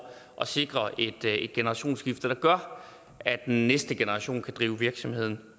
at sikre et generationsskifte der gør at den næste generation kan drive virksomheden